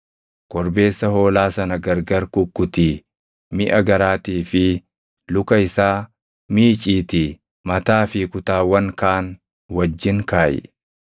Korbeessa hoolaa sana gargar kukkutii miʼa garaatii fi luka isaa miiciitii mataa fi kutaawwan kaan wajjin kaaʼi.